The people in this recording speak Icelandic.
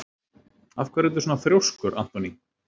Af hverju ertu svona þrjóskur, Anthony?